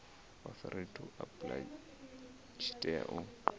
authority to apply tshi tea